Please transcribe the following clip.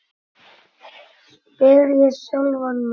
spyr ég sjálfan mig.